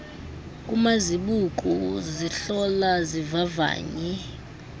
kumazibuko zihlola zivavanye